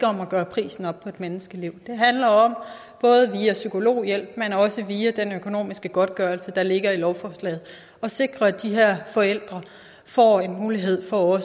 om at gøre prisen op på et menneskeliv det handler om både via psykologhjælp men også via den økonomiske godtgørelse der ligger i lovforslaget at sikre at de her forældre får en mulighed for